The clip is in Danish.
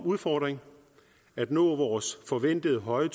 udfordring at nå vores forventede høje